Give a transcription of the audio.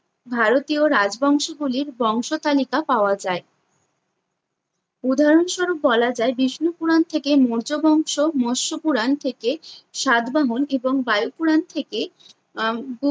ভারতীয় রাজবংশ গুলির বংশতালিকা পাওয়া যায়। উদাহরণস্বরূপ বলা যায়, বিষ্ণু পুরাণ থেকে মৌর্য বংশ, মৎস পুরাণ থেকে সাতবামন এবং বায়ু পুরাণ থেকে আহ